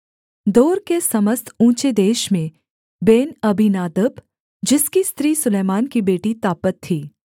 दोर के समस्त ऊँचे देश में बेनअबीनादब जिसकी स्त्री सुलैमान की बेटी तापत थी